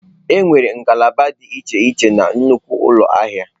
Enwere ngalaba dị iche iche na nnukwu ụlọ ahịa.